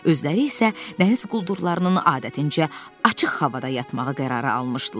Özləri isə dəniz quldurlarının adətincə açıq havada yatmağı qərara almışdılar.